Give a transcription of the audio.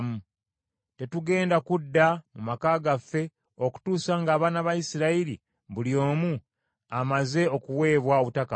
Tetugenda kudda mu maka gaffe okutuusa ng’abaana ba Isirayiri buli omu amaze okuweebwa obutaka bwe.